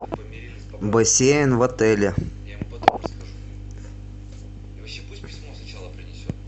бассейн в отеле